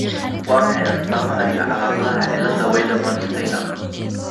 Waa maxay astamaha iyo calaamadaha cilada Wiedemann Steiner ?